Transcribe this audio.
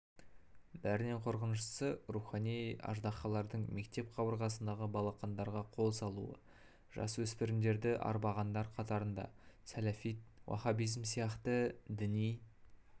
бәрінен қорқыныштысы рухани аждаһалардың мектеп қабырғасындағы балақандарға қол салуы жасөспірімдерді арбағандар қатарында салафит уахабизм сияқты діни